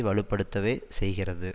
வலுப்படுத்தவே செய்கிறது